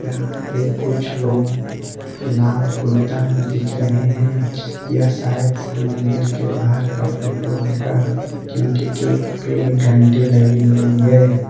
फिर कुछ लोग लाल कुर्ता में दिख रहे हैं या शायद से मंदिर के बाहर का फोटो होगा क्योंकि गेट पर एक घंटी लगी हुई है।